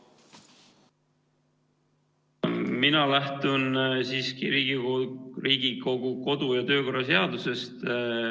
Mina lähtun siiski Riigikogu kodu- ja töökorra seadusest.